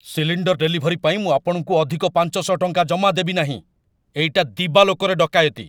Cylinder delivery ପାଇଁ ମୁଁ ଆପଣଙ୍କୁ ଅଧିକ ୫୦୦ ଟଙ୍କା ଜମା ଦେବି ନାହିଁ। ଏଇଟା ଦିବାଲୋକରେ ଡକାୟତି!